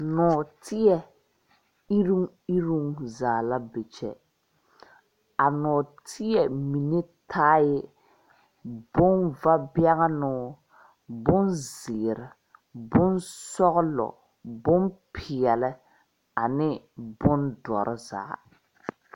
Nɔɔteɛ eroŋ eroŋ zaa la be kyɛ a nɔɔteɛ mine taaɛ boŋ vabɛŋnoo, bonzeere, bonsɔglɔ, bonpeɛle, ane bondɔre zaa.